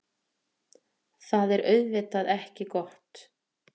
Það er auðvitað ekki gott.